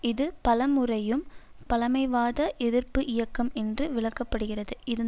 இது பலமுறையும் பழமைவாத எதிர்ப்பு இயக்கம் என்று விளக்க படுகிறது இதன்